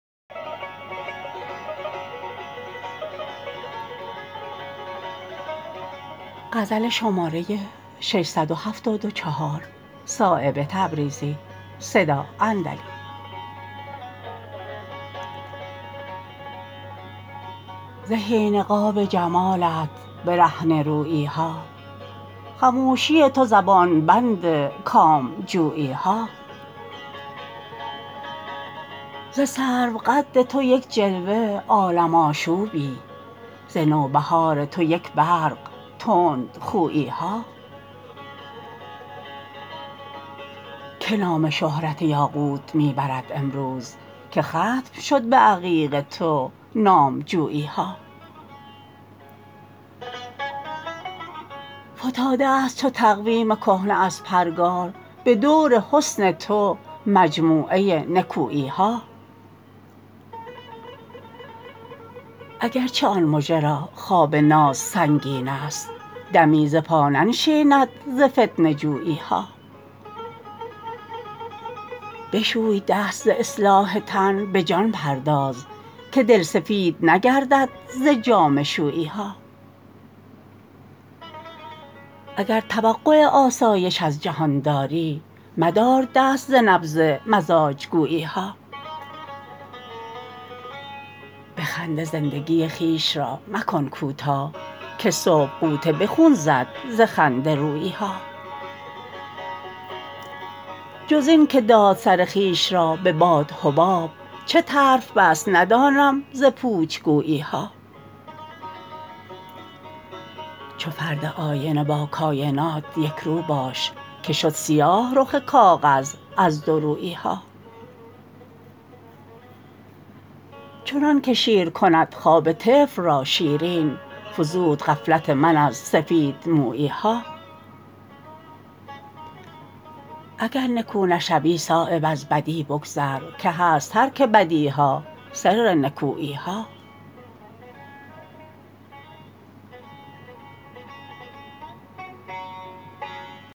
زهی نقاب جمالت برهنه رویی ها خموشی تو زبان بند کام جویی ها ز سرو قد تو یک جلوه عالم آشوبی ز نوبهار تو یک برق تندخویی ها که نام شهرت یاقوت می برد امروز که ختم شد به عقیق تو نامجویی ها فتاده است چو تقویم کهنه از پرگار به دور حسن تو مجموعه نکویی ها اگرچه آن مژه را خواب ناز سنگین است دمی ز پا ننشیند ز فتنه جویی ها بشوی دست ز اصلاح تن به جان پرداز که دل سفید نگردد ز جامه شویی ها اگر توقع آسایش از جهان داری مدار دست ز نبض مزاج گویی ها به خنده زندگی خویش را مکن کوتاه که صبح غوطه به خون زد ز خنده رویی ها جز این که داد سر خویش را به باد حباب چه طرف بست ندانم ز پوچ گویی ها چو فرد آینه با کاینات یک رو باش که شد سیاه رخ کاغذ از دورویی ها چنان که شیر کند خواب طفل را شیرین فزود غفلت من از سفیدمویی ها اگر نکو نشوی صایب از بدی بگذر که هست ترک بدی ها سر نکویی ها